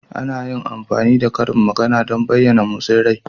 Ana iya amfani da karin magana don bayyana motsin rai.